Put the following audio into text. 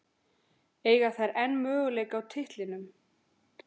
Eiga þær enn möguleika á titlinum?